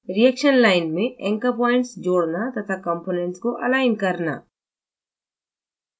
reaction line में anchor points जोड़ना तथा components को अलाइन करना